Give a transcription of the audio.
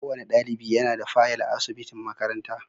Kowane dalibi yana da fayal a asubitin makaranta.